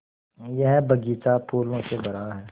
यह बग़ीचा फूलों से भरा है